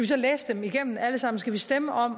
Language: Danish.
så læse dem igennem alle sammen skal vi stemme om